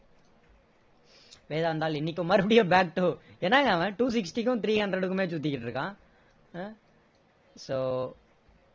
வேதாந்தாள் இன்னைக்கும் மறுபடியும் back to என்னங்க அவன் two sixty க்கும் three hundred குமே சுத்திகிட்டு இருக்கான் ஆஹ் so